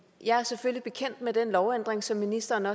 jeg er selvfølgelig bekendt med den lovændring som ministeren